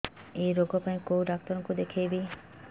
ଏଇ ରୋଗ ପାଇଁ କଉ ଡ଼ାକ୍ତର ଙ୍କୁ ଦେଖେଇବି